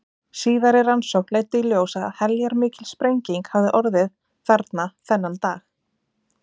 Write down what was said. Síðari rannsókn leiddi í ljós að heljarmikil sprenging hafði orðið þarna þennan dag.